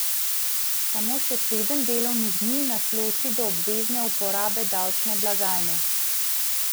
Samo še sedem delovnih dni nas loči do obvezne uporabe davčne blagajne.